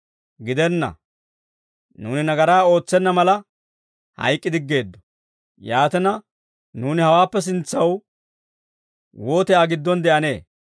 Gidenna; nuuni nagaraa ootsenna mala hayk'k'idiggeeddo. Yaatina, nuuni hawaappe sintsaw wooti Aa giddon de'anee?